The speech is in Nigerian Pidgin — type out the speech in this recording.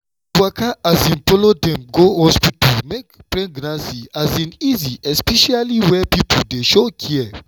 to waka um follow dem go hospital dey make pregnancy um easy especially where people dey show care.